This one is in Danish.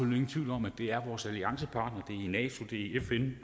ingen tvivl om at det er sammen vores alliancepartnere i fn